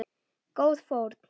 Góð fórn.